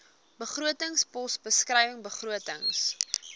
begrotingspos beskrywing begrotings